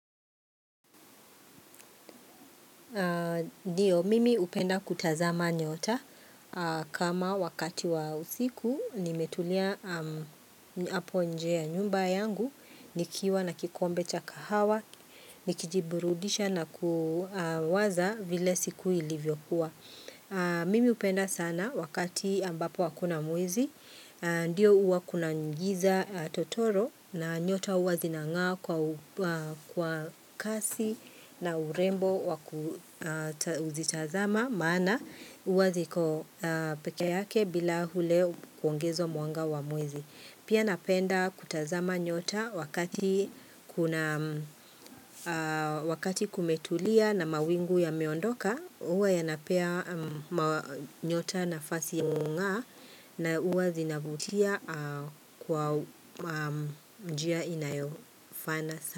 Ndio, mimi hupenda kutazama nyota kama wakati wa usiku nimetulia hapo nje ya nyumba yangu, nikiwa na kikombe cha kahawa, nikijiburudisha na kuwaza vile siku ilivyokuwa. Mimi hupenda sana wakati ambapo hakuna mwezi, ndio huwa kuna giza totoro na nyota huwa zinang'aa kwa kwa kasi na urembo wakuzitazama maana huwa ziko pekee yake bila ule kuongezwa mwanga wa mwezi. Pia napenda kutazama nyota wakati kumetulia na mawingu yameondoka, huwa yanapea nyota nafasi ya kung'aa na huwa zinavutia kwa njia inayofana.